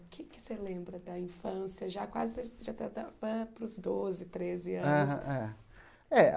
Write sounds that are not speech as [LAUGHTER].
O que é que você lembra da infância, já quase [UNINTELLIGIBLE] para os doze, treze anos? Aham é